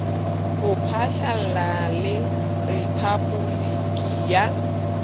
ho phatlalla le rephaboliki ya